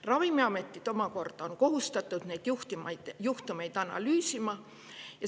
Ravimiametid omakorda on kohustatud neid juhtumeid analüüsima.